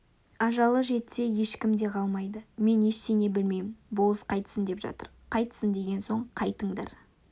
ажалы жетсе ешкім де қалмайды мен ештеңе білмеймін болыс қайтсын деп жатыр қайтсын деген соң қайтыңдар